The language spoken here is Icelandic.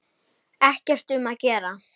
Ekkert um að vera.